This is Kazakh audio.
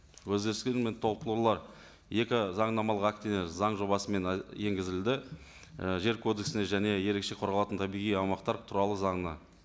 өзгерістер мен толықтырулар екі заңнамалық актіне заң жобасымен енгізілді і жер кодексіне және ерекше қорғалатын табиғи аумақтар туралы заңына